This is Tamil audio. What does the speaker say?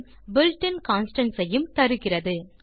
built இன் கான்ஸ்டன்ட்ஸ் ஐயும் தருகிறது